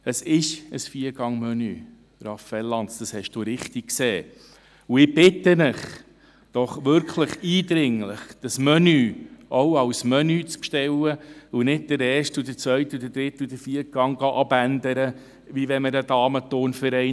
Es ist ein Viergangmenü, Raphael Lanz, das haben Sie richtig gesehen, und ich bitte Sie doch wirklich eindringlich, dieses Menü auch als Menü zu bestellen und nicht den ersten, zweiten, dritten und vierten Gang abzuändern, als wären ein Damenturnverein.